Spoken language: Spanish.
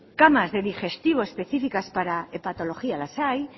camas de digestivo específicas para hepatología las hay